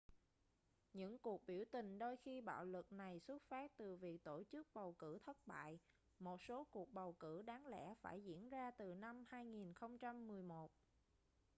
những cuộc biểu tình đôi khi bạo lực này xuất phát từ việc tổ chức bầu cử thất bại một số cuộc bầu cử đáng lẽ phải diễn ra từ năm 2011